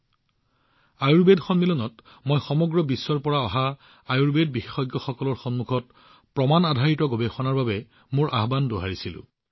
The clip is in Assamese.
আনকি আয়ুৰ্বেদ কংগ্ৰেছতো মই সমগ্ৰ বিশ্বৰ পৰা সংগ্ৰহ কৰা আয়ুৰ্বেদ বিশেষজ্ঞসকলৰ ওচৰত প্ৰমাণ আধাৰিত গৱেষণাৰ কথাটো দোহাৰিছিলো